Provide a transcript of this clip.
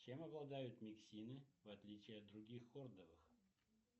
чем обладают миксины в отличии от других хордовых